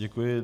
Děkuji.